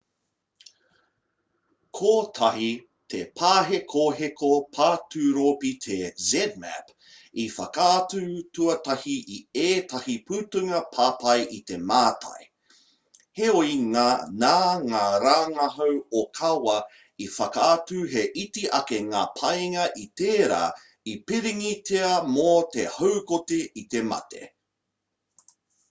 kotahi te pāhekoheko paturopi te zmapp i whakaatu tuatahi i ētahi putanga papai i te mātai heoi nā ngā rangahau ōkawa i whakaatu he iti ake ngā painga i tērā i pīrangitia mō te haukoti i te mate